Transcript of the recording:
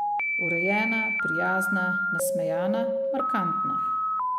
Urejena, prijazna, nasmejana, markantna.